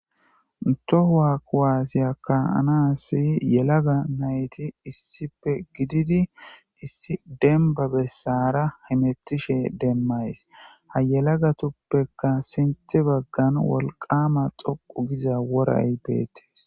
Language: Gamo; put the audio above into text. ntohua kuwaasiyaka anassi yelaga nayti issippe gididi issi demba bessara himetishe demmays ha yelaga tuppekka sinthe baggan wolqama xoqu giza woray beettees